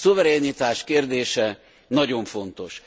A szuverenitás kérdése nagyon fontos.